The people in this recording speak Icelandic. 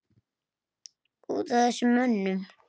Út af þessum mönnum?